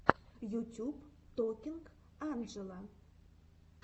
ютюб токинг анджела